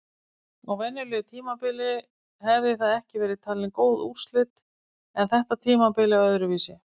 Á venjulegu tímabili hefði það ekki verið talin góð úrslit en þetta tímabil er öðruvísi!